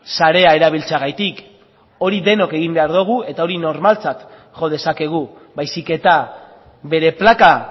sarea erabiltzeagatik hori denok egin behar dugu eta hori normaltzat jo dezakegu baizik eta bere plaka